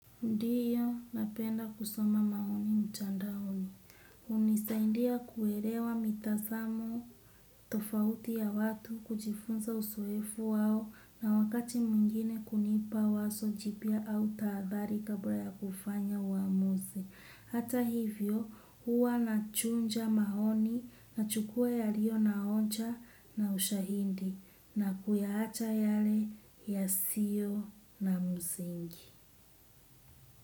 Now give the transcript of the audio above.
Ndio napenda kusoma maoni mtandaoni. Hunisaindia kuelewa mitazamo tofauti ya watu, kujifunza uzoefu wao na wakati mwingine kunipa wazo jipya au tahadhari kabla ya kufanya uamuzi. Hata hivyo, huwa nachuja maoni nachukua yaliyo na hoja na ushahidi na kuyaacha yale yasio na msingi.